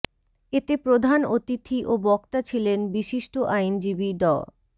এতে প্রধান অতিথি ও বক্তা ছিলেন বিশিষ্ট আইনজীবী ড